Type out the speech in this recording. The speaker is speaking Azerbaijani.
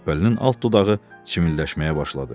Şəpbəlinin alt dodağı çimildəşməyə başladı.